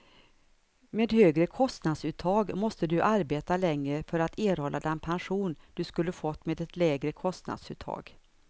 Med högre kostnadsuttag måste du arbeta längre för att erhålla den pension du skulle fått med ett lägre kostnadsuttag.